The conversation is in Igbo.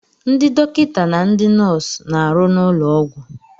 Ndị dọkịta na ndị nọọsụ na-arụ n'ụlọ ọgwụ.